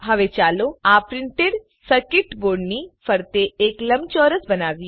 હવે ચાલો આ પ્રિન્ટેડ સર્કીટ બોર્ડની ફરતે એક લંબચોરસ બનાવીએ